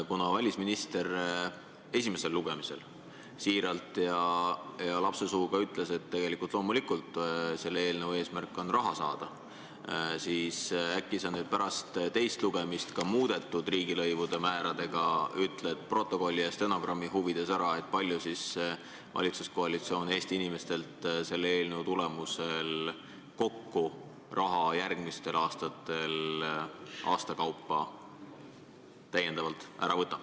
Kuna välisminister esimesel lugemisel siiralt ja lapsesuuga ütles, et loomulikult on selle eelnõu eesmärk raha saada, siis äkki sa nüüd pärast teist lugemist ütled koos muudetud riigilõivumääradega stenogrammi huvides ära, kui palju siis valitsuskoalitsioon Eesti inimestelt selle eelnõu tulemusel järgmistel aastatel täiendavalt raha aasta kaupa kokku ära võtab.